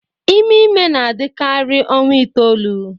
Ime ime na-adịkarị ọnwa itoolu